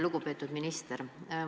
Lugupeetud minister!